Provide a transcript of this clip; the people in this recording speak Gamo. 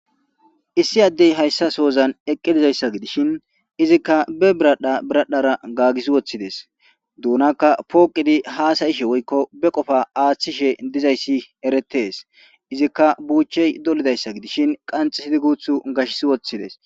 issi addey hayssa soozan eqqidizayssa gidishin izikka be biradha biradhara gaagis woththides duunakka pooqidi haasayishe woykko be qofa aaththishe dizayssi eretes izikka buuchey dolidayssa gidishin qanxisidi guuthu gashs woththides